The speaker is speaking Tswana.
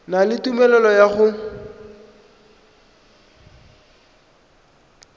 na le tumelelo ya go